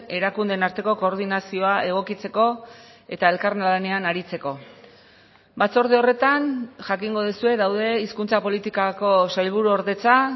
erakundeen arteko koordinazioa egokitzeko eta elkarlanean aritzeko batzorde horretan jakingo duzue daude hizkuntza politikako sailburuordetza